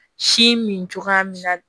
Si min cogoya min na